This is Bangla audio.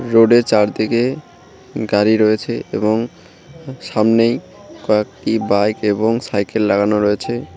রোডের চারদিকে গাড়ি রয়েছে এবং সামনেই কয়েকটি বাইক এবং সাইকেল লাগানো রয়েছে।